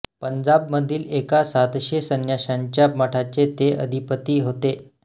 पंजाबमधील एका सातशे संन्याशांच्या मठाचे ते अधिपती होते